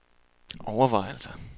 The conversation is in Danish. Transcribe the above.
overvejelser